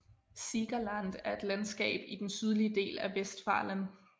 Siegerland et et landskab i den sydlige del af Westfalen